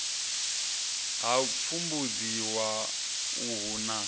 ha u pfumbudziwa uhu na